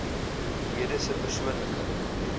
lede se persoonlike